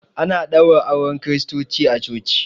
Ana ɗaura auren kiristoci a coci